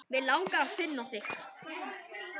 Mig langar að finna þig.